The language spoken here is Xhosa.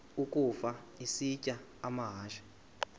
ukafa isitya amahashe